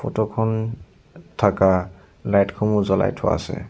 Photo খন থকা light সমূহ জ্বলাই থোৱা আছে।